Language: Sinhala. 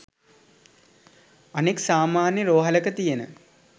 අනෙක් සාමාන්‍ය රෝහලක තියෙන